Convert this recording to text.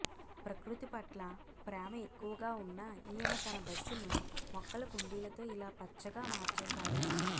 ప్రకృతి పట్ల ప్రేమ ఎక్కువగా ఉన్న ఈయన తన బస్సును మొక్కల కుండీలతో ఇలా పచ్చగా మార్చేశారు